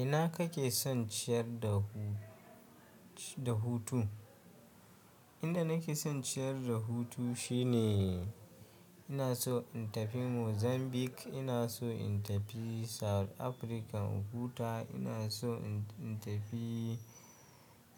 Ina kake son ciyar da hu da hutu? Inda nake son ciyar da hutu shine ina so in tafi Mozambique, ina so in tafi South Africa Ohuta, ina so in tafi,